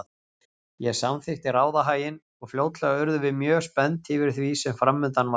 Ég samþykkti ráðahaginn og fljótlega urðum við mjög spennt yfir því sem framundan var.